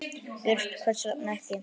Björn: Hvers vegna ekki?